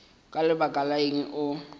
ka lebaka la eng o